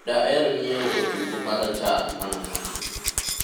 daher nyiewo otungu marachar mana matin